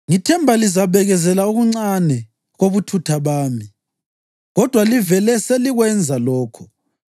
Ngithemba lizabekezelela okuncane kobuthutha bami; kodwa livele selikwenza lokho.